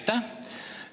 Aitäh!